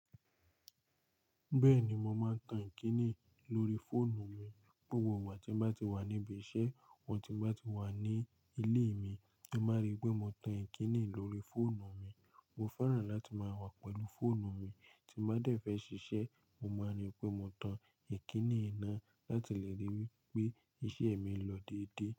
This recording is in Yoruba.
Bẹ́ẹ̀ni, mo máa ń tan Ìkíni lórí fóònù mi. Òwò wà tí bá ti wà níbí iṣẹ́, wọ̀n tí bá ti wà ní ilé mi, ẹ má rí pé mo tan Ìkíni lórí fóònù mi. Mo fẹ́ràn láti máa wà pẹ̀lú fóònù mi. Tí mo bá dẹ̀ fẹ́ ṣiṣẹ́, mo máa rí pé mo tan Ìkíni ina láti lè ri wi pé iṣẹ́ mi ń lọ déédé.